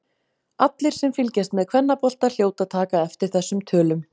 Allir sem fylgjast með kvennabolta hljóta að taka eftir þessum tölum.